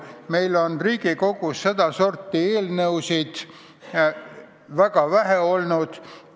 Riigikogu praeguses koosseisus on sedasorti eelnõusid väga vähe olnud.